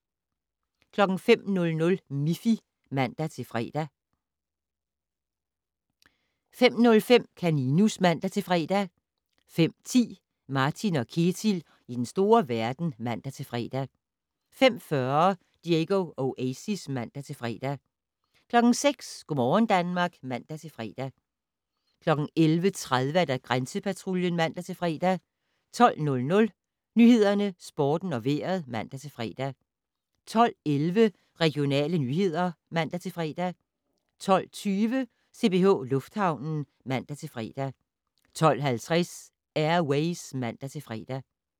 05:00: Miffy (man-fre) 05:05: Kaninus (man-fre) 05:10: Martin & Ketil i den store verden (man-fre) 05:40: Diego Oasis (man-fre) 06:00: Go' morgen Danmark (man-fre) 11:30: Grænsepatruljen (man-fre) 12:00: Nyhederne, Sporten og Vejret (man-fre) 12:11: Regionale nyheder (man-fre) 12:20: CPH Lufthavnen (man-fre) 12:50: Air Ways (man-fre)